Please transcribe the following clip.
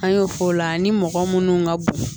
An y'o f'o la ni mɔgɔ munnu ka bon